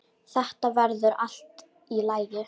Þetta verður allt í lagi